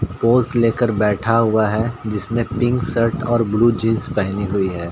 Pose ले कर बैठा हुआ है जिसने पिंक शर्ट और ब्लू जीन्स पेहनी हुई है।